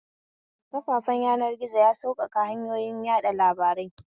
Kafafen yanar gizo ya sauƙaƙa hanyoyin yaɗa labarai